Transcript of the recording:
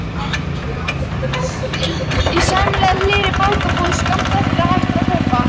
Í sæmilega hlýrri bókabúð skammt frá er hægt að kaupa